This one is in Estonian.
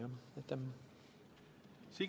Signe Kivi, palun!